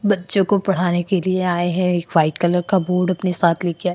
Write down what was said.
बच्चों को पढ़ाने के लिए आए हैं। एक व्हाइट कलर का बोर्ड अपने साथ लेके आए --